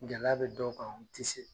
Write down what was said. Gɛlɛya bɛ dɔw kan u tɛ se